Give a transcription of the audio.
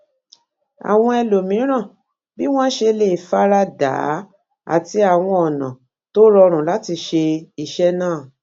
àwọn ẹlòmíràn bí wón ṣe lè fara dà á àti àwọn ònà tó rọrun lati ṣe iṣẹ naa